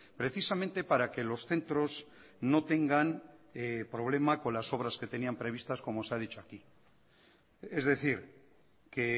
precisamente para que los centros no tengan problemas con las obras que tenían previstas como se ha dicho aquí es decir que